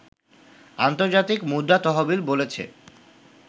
আন্তর্জাতিক মুদ্রা তহবিল বলেছে